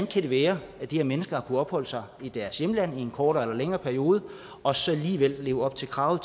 kan være at de her mennesker har kunnet opholde sig i deres hjemland i en kortere eller længere periode og så alligevel leve op til kravet